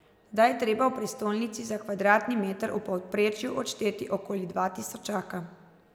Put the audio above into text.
Zdaj je treba v prestolnici za kvadratni meter v povprečju odšteti okoli dva tisočaka.